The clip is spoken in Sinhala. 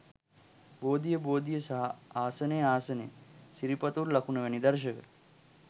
බෝධිය, බෝධිය සහ ආසනය, ආසනය, සිරිපතුල් ලකුණ වැනි දර්ශක